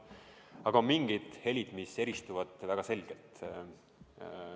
Samas on mingid helid, mis eristuvad väga selgelt.